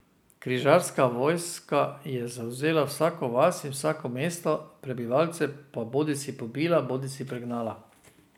Križarska vojska je zavzela vsako vas in vsako mesto, prebivalce pa bodisi pobila bodisi pregnala.